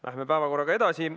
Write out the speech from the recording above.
Läheme päevakorraga edasi.